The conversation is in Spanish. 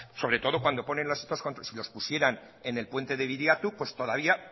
sobre todo cuando ponen los otros controles si los pusieran en el puente de biriatou pues todavía